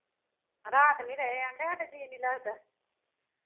ਰਾਤ ਨਹੀਂ ਰਹੇ ਆਂਦੇ ਸਾਡਾ ਜੀਅ ਨਹੀਂ ਲੱਗਦਾ